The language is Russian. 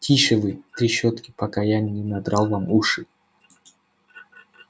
тише вы трещотки пока я не надрал вам уши